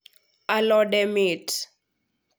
alode mit